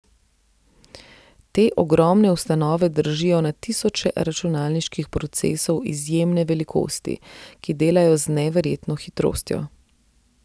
Te ogromne ustanove držijo na tisoče računalniških procesov izjemne velikosti, ki delajo z neverjetno hitrostjo.